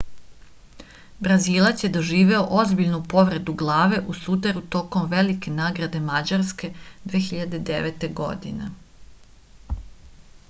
brazilac je doživeo ozbiljnu povredu glave u sudaru tokom velike nagrade mađarske 2009. godine